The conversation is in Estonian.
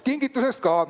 Kingitusest ka.